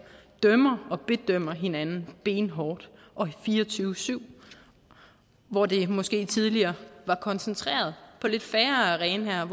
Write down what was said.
dømmer og bedømmer hinanden benhårdt og fire og tyve syv hvor det måske tidligere var koncentreret på lidt færre arenaer